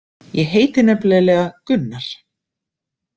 Ég heiti nefnilega Gunnar.